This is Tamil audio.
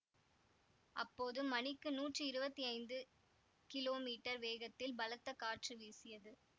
அப்போது மணிக்கு நூற்றி இருவத்தி ஐந்து கிலோ மீட்டர் வேகத்தில் பலத்த காற்று வீசியது